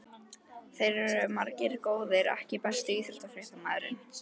Þeir eru margir góðir EKKI besti íþróttafréttamaðurinn?